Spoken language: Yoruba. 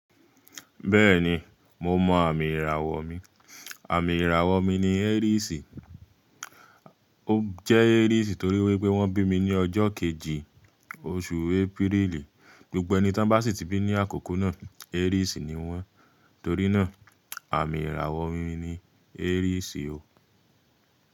Bẹ́ẹ̀ni, mo mọ àmì ìràwọ̀ mi. Àmì ìràwọ̀ mi ni Aries. Ó jẹ́ Aries torí wípé wón bí mi ní ọjọ́ kejì, oṣù April. Gbogbo ẹni tí wọn bá sì tí bí ní àkókò náà Aries ni wón. Torí náà àmì ìràwọ̀ mi ni Aries ò.